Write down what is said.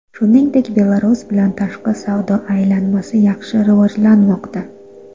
Shuningdek, Belarus bilan tashqi savdo aylanmasi yaxshi rivojlanmoqda.